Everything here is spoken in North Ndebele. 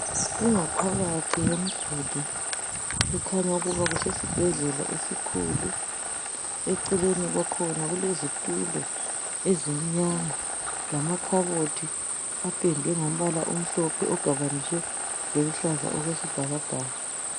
Ingaphakathi yemduli, ekhanya ukuba kusesibhedlela esikhulu. Eceleni kwakhona kulezitulo ezimnyama, lamakhabothi apendwe ngombala omhlophe ogabaniswe loluhlaza okwesibhakabhaka.